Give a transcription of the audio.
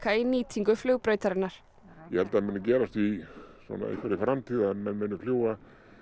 í nýtingu flugbrautarinnar ég held það muni gerast í einhverri framtíð að menn muni fljúga